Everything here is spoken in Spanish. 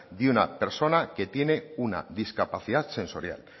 de una persona que tiene una discapacidad sensorial